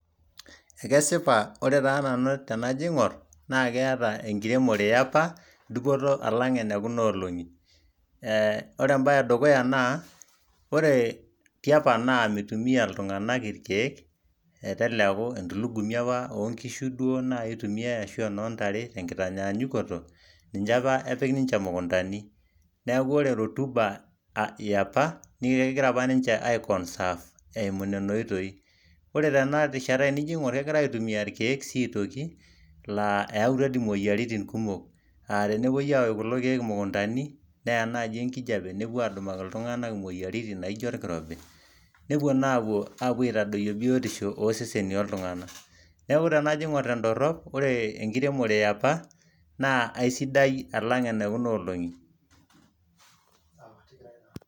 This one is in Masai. ekesipa ore taa nanu tenajo aing'orr na keeta ekiremore yapa duopoto alang ene kuna olongi, eeh ore embae ee dukuya naa ore tiapa naa meitumia iltungana ilkieek , meteleku entulungumi apa oo nkishu duoo naai itumiae ashu oo ntare tekitanyaanyukoto, ninche apa epik ninche imukuntani , neeku ore rotuba yeapa naa kengira ninche ai conserve eimu nena oitoii , ore tena rishashta te nijo aigorr kegirae aitumia ilkieek sii aitoki laa eyaatua imoyiaritin kumok, aah tenepoi aaosh kulo kieek imukuntani neyaa naaji enkijape nepuo aadumaki iltugana imoyiarin naaijo orkirobi, nepuo naa apuo aitadoyio biotisho oo seseni ooltugana , neeku tenajo aigorr te dorop ore ekiremore ya apa naa kisidai alang ene kuna olong'i.